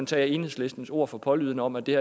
tage enhedslistens ord for pålydende om at det